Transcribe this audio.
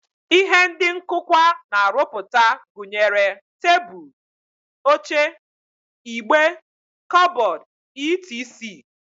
Ihe ndị nkụkwa na-arụpụta gụnyere tebụl, oche, igbe, kọbọd, etc